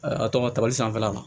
a tɔgɔ tali sanfɛla la